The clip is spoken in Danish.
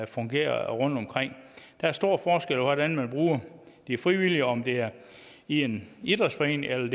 fungerer rundtomkring der er stor forskel på hvordan man bruger de frivillige om det er i en idrætsforening eller